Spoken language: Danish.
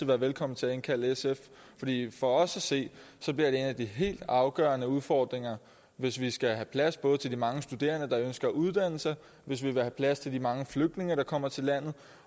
være velkommen til at indkalde sf fordi det for os at se bliver en af de helt afgørende udfordringer hvis vi skal have plads til både de mange studerende der ønsker at uddanne sig hvis vi vil have plads til de mange flygtninge der kommer til landet